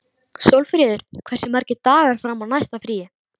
Sólfríður, hversu margir dagar fram að næsta fríi?